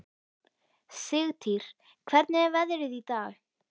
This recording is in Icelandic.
Sigtýr, hvernig er veðrið í dag?